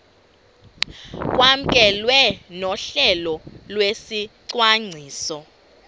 kwamkelwe nohlelo lwesicwangciso